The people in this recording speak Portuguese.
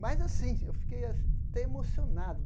Mas assim, eu fiquei a até emocionado.